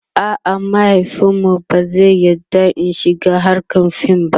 a'a mahaifinmu ba zai yarda In shiga hrkar fim ba